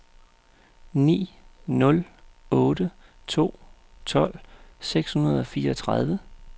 ni nul otte to tolv seks hundrede og fireogtredive